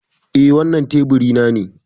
Eh. Wannan teburi na ne.